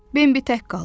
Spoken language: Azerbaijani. Bimbi tək qaldı.